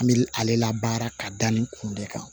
An bɛ ale la baara ka da nin kun de kan